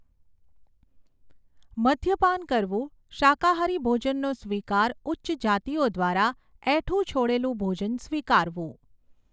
મદ્યપાન કરવું શાકાહારી ભોજનનો સ્વીકાર ઉચ્ચ જાતિઓ દ્વારા એઠું છોડેલું ભોજન સ્વીકારવું.